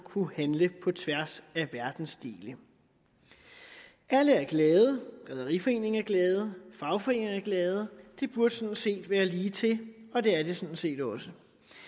handle på tværs af verdensdele alle er glade rederiforeningen er glad fagforeningerne er glade det burde sådan set være lige til og det er det sådan set også